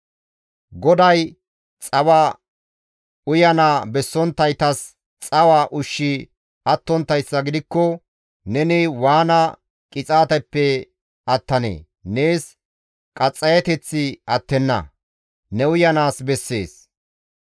GODAY, «Xawa uyana bessonttaytas xawa ushshi attonttayssa gidikko neni waana qixaateppe attanee? Nees qaxxayeteththi attenna; ne uyanaas bessees.